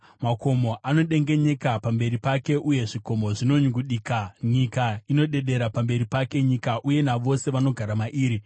Makomo anodengenyeka pamberi pake uye zvikomo zvinonyungudika. Nyika inodedera pamberi pake, nyika uye navose vanogara mairi.